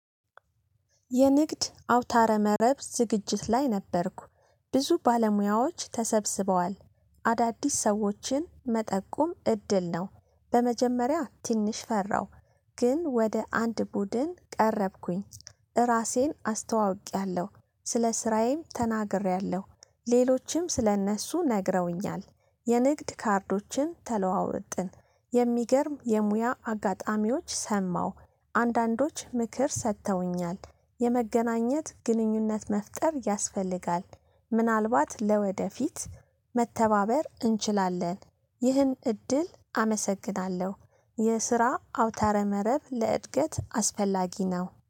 የንግድ አውታረ መረብ ዝግጅት ላይ ነበርኩ። ብዙ ባለሙያዎች ተሰብስበዋል፣ አዳዲስ ሰዎችን መጠቁም እድል ነው። በመጀመሪያ ትንሽ ፈራው፣ ግን ወደ አንድ ቡድን ቀረብኩኝ ራሴን አስተዋውቄያለሁ ስለ ስራዬም ተናግሬያለሁ፣ ሌሎችም ስለእነሱ ነግረውኛል የንግድ ካርዶችን ተለዋወጥን የሚገርም የሙያ አጋጣሚዎች ሰማሁ አንዳንዶች ምክር ሰጥተውኛል የመገናኘት ግንኙነት መፍጠር ያስፈልጋል። ምናልባት ለወደፊት መተባበር እንችላለን ይህን እድል አመሰግናለሁ የስራ አውታረ መረብ ለእድገት አስፈላጊ ነው።